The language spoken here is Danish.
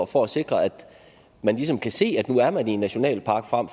for at sikre at man ligesom kan se at nu er man i en nationalpark